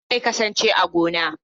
Haruna zai kasance a gona.